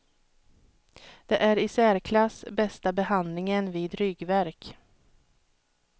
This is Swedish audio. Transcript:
Det är i särklass bästa behandlingen vid ryggvärk.